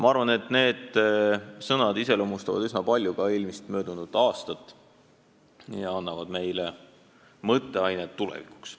" Ma arvan, et need sõnad iseloomustavad üsna palju ka möödunud aastat ja annavad meile mõtteainet tulevikuks.